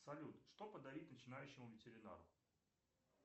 салют что подарить начинающему ветеринару